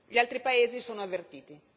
Gli altri paesi sono avvertiti.